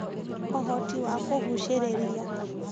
Ũhoti wa kũgucĩrĩria: